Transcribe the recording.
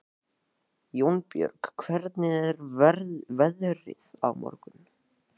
Jónbjörg, hvernig er veðrið á morgun?